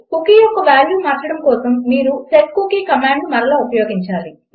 cookie యొక్క value మార్చడం కోసం మీరు సెట్కూకీ కమాండ్ మరల ఉపయోగించాలి